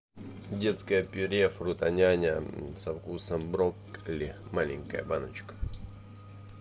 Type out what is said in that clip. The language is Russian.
детское пюре фрутоняня со вкусом брокколи маленькая баночка